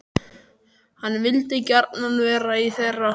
Hann vildi gjarnan vera í þeirra hópi.